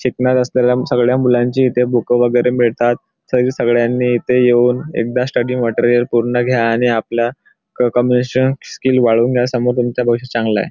शिकणार असलेल्या सगळ्या मुलांची इथे बुक वगैरे मिळतात तरी सगळ्यांनी इथे येऊन एकदा स्टडी मटेरियल पूर्ण घ्या आणि आपल्या क कम्युनेशन स्किल वाढवून घ्या समोर तुमचं भविष्य चांगलं आहे.